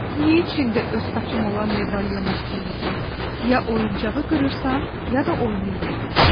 Niyə içində öz saçım olan medalion istəyim ki, ya oyuncağı qırırsan, ya da oynayırıq.